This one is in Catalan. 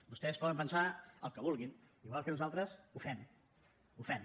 vostès poden pensar el que vulguin igual que nosaltres ho fem ho fem